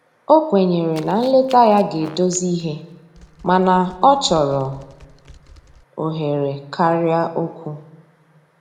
O kwenyere na nleta ya ga edozi ihe mana ọchọrọ ohere karịa okwụ